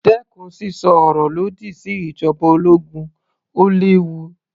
Dẹ́kun sísọ ọ̀rọ̀ lòdì sí ìjoba ológun, ó léwu.